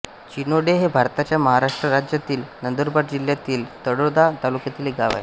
चिनोडे हे भारताच्या महाराष्ट्र राज्यातील नंदुरबार जिल्ह्यातील तळोदा तालुक्यातील एक गाव आहे